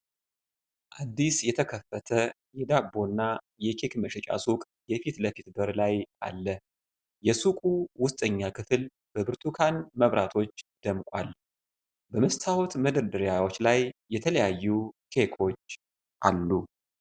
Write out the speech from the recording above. አዲስ የተከፈተ የዳቦና የኬክ መሸጫ ሱቅ የፊት ለፊት በር አለ። የሱቁ ውስጠኛ ክፍል በብርቱካን መብራቶች ደምቋል፤ በመስታወት መደርደሪያዎች ላይ የተለያዩ ኬኮች አሉ።።